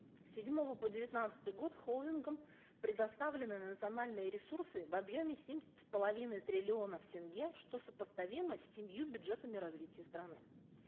с седьмого по девятнадцатый год холдингам предоставлены национальные ресурсы в объеме семь с половиной триллионов тенге что сопоставимо с семью бюджетами развития страны